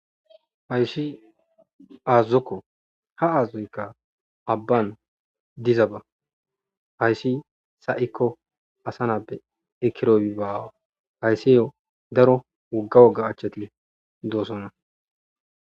Hayssi azazokko ha azazoykka abban diza ba hayssi sa'ikko asa napbe ekiroy ibaawa hayssiyo daro wogga woga achchet doosonna